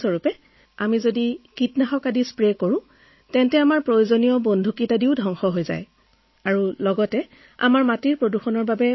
আমি শস্যত ছটিয়াই দিয়া কীটনাশকে আমাৰ কীটপতংগ ধ্বংস কৰে যদিও আমাৰ মাটি প্ৰদূষিত কৰে